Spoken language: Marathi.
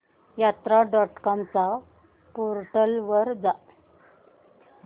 यात्रा डॉट कॉम च्या पोर्टल वर जा